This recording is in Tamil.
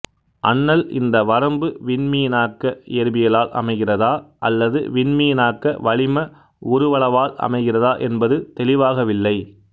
அன்னல் இந்த வரம்பு விண்மீனாக்க இயற்பியலால் அமைகிறதா அல்லது விண்மீனாக்க வளிம உருவளவால் அமைகிறதா என்பது தெளிவாகவில்லை